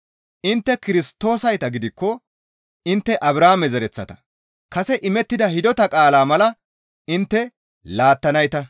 Intte Kirstoosayta gidikko intte Abrahaame zereththata; kase imettida hidota qaalaa mala intte laattanayta.